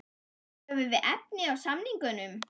Höfum við efni á samningnum?